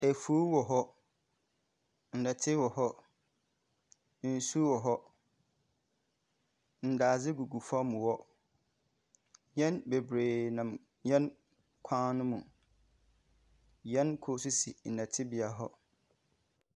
Afuw wɔ hɔ, nnɛte wɔ hɔ, nsu wɔ hɔ. Ndadze gugu fam hɔ. Hɛn bebree nam hɛn kwan no mu. Hɛn kor nso si nnɛtebea hɔ.